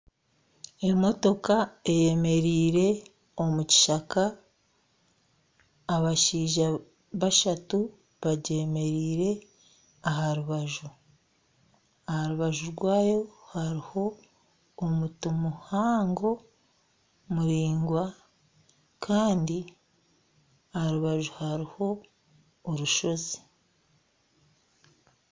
Emotoka eyemereire omukishaka abashaija bashatu bagyemereire aharubaju . Aharubaju rwayo haruho omuti muhango muraingwa kandi aharubaju haruho orushozi.